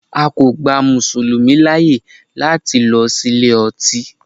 A kò gba Mùsùlùmí láyè láti lọ sí ilé ọtí.